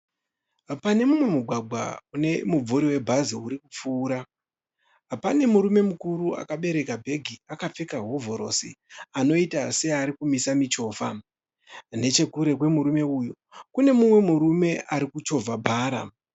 Pane mumwe mugwagwa kune mumvuri webhazi urikupfuura, pane murume mukuru akabereka bhegi akapfeka hovhorosi, anoita searikumisa michovha. Nechekure kwemurume uyu kune mumwe murume arikuchovha bhara.